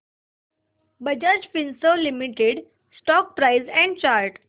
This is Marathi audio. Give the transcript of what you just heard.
Bajaj Finserv limited stock price and chart